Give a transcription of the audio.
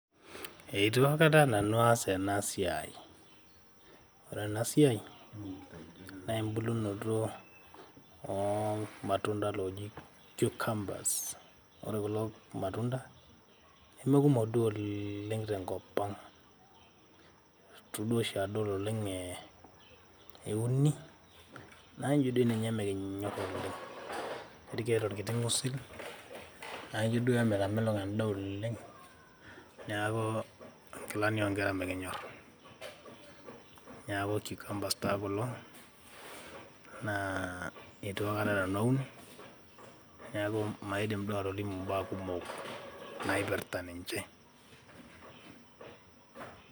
eitu aikata nanu aas ena siai .ore ena siai naa ene unoto oormatunda loji cucumbers . ore kulo matunda nemekumok duo oleng tenkop ang .itu duoshi adol oleng euni ,naa ijo dii ninye mikinyor oleng . nkuti tokitin osil naijo duo emitamelok endaa oleng. niaku nkilani onkera mikinyor